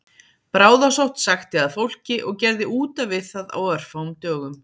Bráðasótt sækti að fólki og gerði útaf við það á örfáum dögum